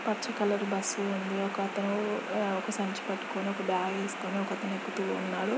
పచ్చ colour bus ఉంది. ఒకతను ఉ అ ఒక సంచి పట్టుకొని ఒక బ్యాగ్ వేసుకొని ఒకతను ఎక్కుతూ ఉన్నాడు.